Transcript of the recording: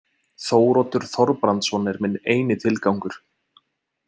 Þóroddur Þorbrandsson er minn eini tilgangur.